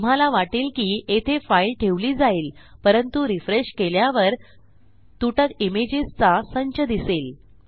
तुम्हाला वाटेल की येथे फाईल ठेवली जाईल परंतु रिफ्रेश केल्यावर तुटक इमेजेसचा संच दिसेल